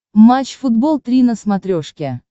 матч футбол три на смотрешке